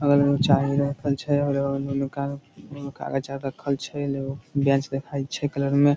बगल में चाय रखल छै और ओय में कागज आर रखल छै बेंच दिखाई छै कलर में ।